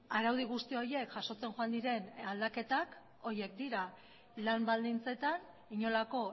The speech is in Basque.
araudi guzti horiek jasotzen joan diren aldaketak horiek dira lan baldintzetan inolako